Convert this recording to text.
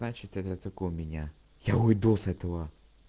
значит это только у меня я уйду с этого